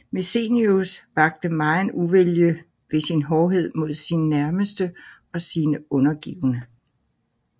Messenius vakte megen uvilje ved sin hårdhed mod sine nærmeste og sine undergivne